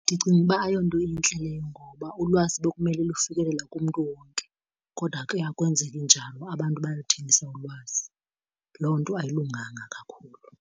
Ndicinga uba ayonto intle leyo ngoba ulwazi bekumele lufikelela kumntu wonke kodwa ke akwenzeki njalo abantu bayaluthengisa ulwazi. Loo nto ayilunganga kakhulu.